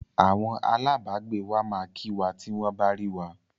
Awọn alábàágbé wa máa kí wa tí wọ́n bá rí wa.